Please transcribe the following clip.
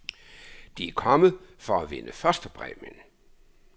De er kommet for at vinde første præmien.